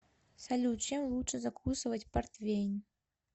салют чем лучше закусывать портвейн